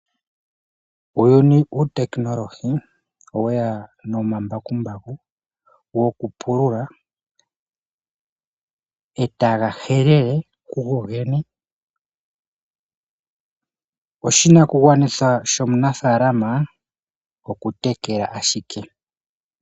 Uuyuni wuutekinolohi oweya nomambakumbaku, etaga pulula, etaga helele kugo gene. Oshinakugwanithwa shomunafaalama oku tekela ashike.